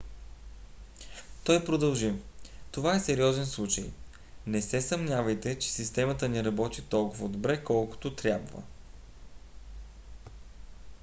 той продължи: това е сериозен случай. не се съмнявайте че системата ни работи толкова добре колкото трябва.